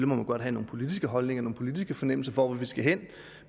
må man godt have nogle politiske holdninger nogle politiske fornemmelser for hvor vi skal hen